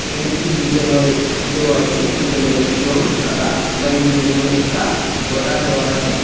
এখানে একটি বিদ্যালয় দেওয়া আছে বিদ্যালয়টির রঙ সাদা অথবা নীল রঙের একটা বর্ডার দেওয়া আছে।